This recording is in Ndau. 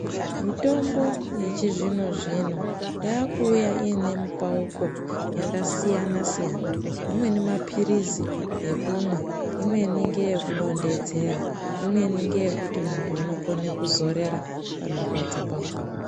Mitombo yechizvino-zvino yakuuya ine mupauko yakasiyana-siyana, amweni maphirizi ekumwa, imweni ngeye kudonhedzera, imweni ngeyekuti muntu unokone kuzorera panorwadza pakona.